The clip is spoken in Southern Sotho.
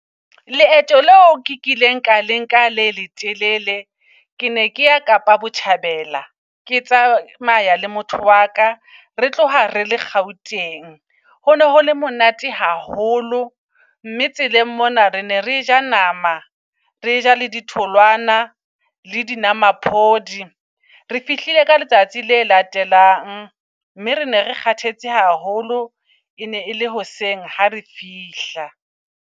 Leeto leo kileng ka lenka le le telele, ke ne ke ya Kapa Botjha bela. Ke tsamaya le motho waka re tloha re le Gauteng. Ho no hole monate haholo mme tseleng mona re ne re ja nama, re ja le di tholwana le di nwamaphodi. Re fihlile ka letsatsi le latelang mme re ne re kgathetse haholo. E ne e le hoseng ha re fihla.